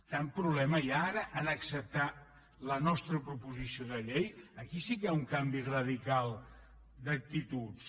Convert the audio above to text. tant problema hi ha ara a acceptar la nostra proposició de llei aquí sí que hi ha un canvi radical d’actituds